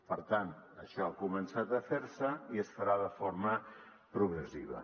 per tant això ha començat a ferse i es farà de forma progressiva